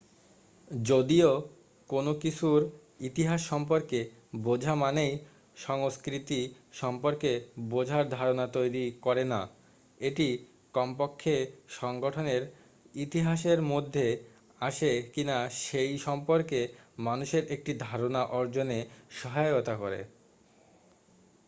যদিও কোন কিছুর ইতিহাস সম্পর্কে বোঝা মানেই সংস্কৃতি সম্পর্কে বোঝার ধারনা তৈরি করে না এটি কমপক্ষে সংগঠনের ইতিহাসের মধ্যে আসে কিনা সেই সম্পর্কে মানুষের একটি ধারণা অর্জনে সহায়তা করে